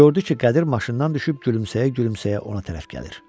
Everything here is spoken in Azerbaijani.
Gördü ki, Qədir maşından düşüb gülümsəyə-gülümsəyə ona tərəf gəlir.